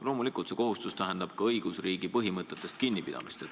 Loomulikult tähendab see ka õigusriigi põhimõtetest kinnipidamist.